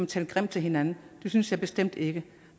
tale grimt til hinanden det synes jeg bestemt ikke